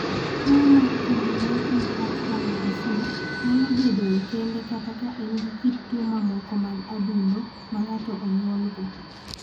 Tuo mar Congenital heart valve disease nyalo bedoe kende kata ka en gi kit tuo mamoko mag adundo ma ng�ato onyuolgo.